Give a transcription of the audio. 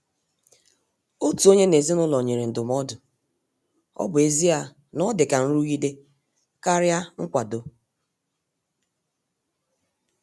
Otu onye n' ezinụlọ nyere ndụmọdụ,ọ bụ ezie na o dị ka nrụgide karịa nkwado.